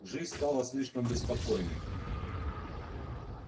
жизнь стала слишком беспокойной